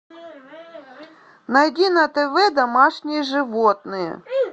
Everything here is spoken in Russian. найди на тв домашние животные